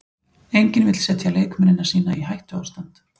Enginn vill setja leikmennina sína í hættuástand.